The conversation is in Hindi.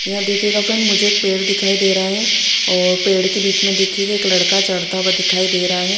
यहा देखिएगा फ्रेंड मुझे एक पेड़ दिखाई दे रहा है और पेड़ के बिच में देखिएगा एक लड़का चड़ता हुआ दिखाई दे रहा है।